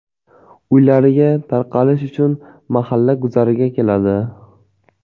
Uylariga tarqalish uchun mahalla guzariga keladi.